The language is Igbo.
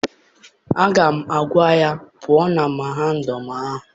Aga m agwa ya pụọ na mahadum ahụ!